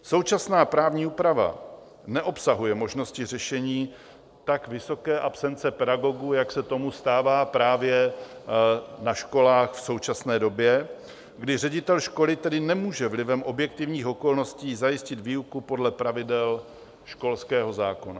Současná právní úprava neobsahuje možnosti řešení tak vysoké absence pedagogů, jak se tomu stává právě na školách v současné době, kdy ředitel školy tedy nemůže vlivem objektivních okolností zajistit výuku podle pravidel školského zákona.